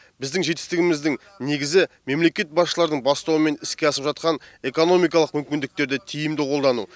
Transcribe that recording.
біздің жетістігіміздің негізі мемлекет басшыларының бастауымен іске асып жатқан экономикалық мүмкіндіктерді тиімді қолдану